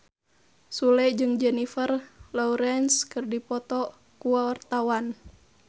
Sule jeung Jennifer Lawrence keur dipoto ku wartawan